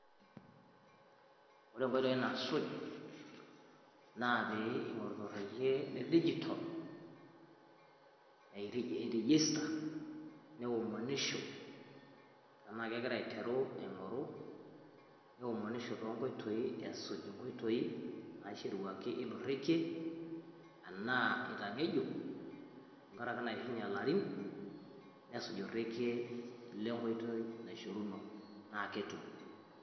woore nkoitoi nasuuj naa pingoru torekie le digital eregister neomonisho tenegira aiteru aing'oru nesuj tonkoitoi ilorekie aa itangejuk tenkaraki eishunyiee larin naa kesuj enkoitoi naishoruno